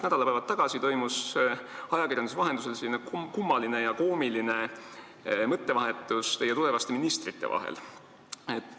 Nädalapäevad tagasi toimus ajakirjanduse vahendusel kummaline ja koomiline mõttevahetus teie tulevaste ministrite vahel.